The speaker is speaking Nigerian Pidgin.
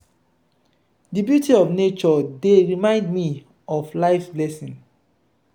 di beauty of nature dey remind me of life’s blessings.